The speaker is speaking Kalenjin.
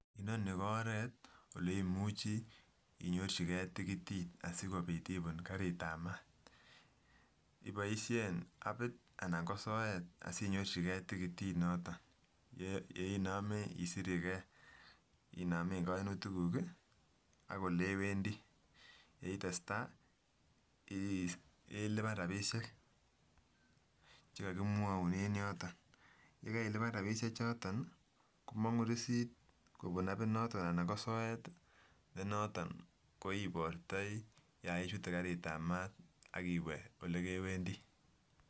Inonii ko oreet oleimuchi inyorchikee tikitit asikobiit ibuun karitab maat, iboishen abiit anan ko soet asinyorchikee tikitit noton nee inome isirekee inomeen koinutikuk ii ak olewendi, yeitestaa ilibaan rabishek chekokimwoun en yoton, yekailiban rabishe choton komong'u receipt kobun abinoton anan ko soet ne noton ko ibortoi yon ichute kariitab maat akiwee elekewendi.